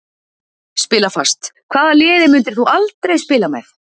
Spila fast Hvaða liði myndir þú aldrei spila með?